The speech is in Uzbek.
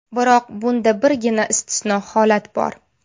Biroq bunda birgina istisno holat bor.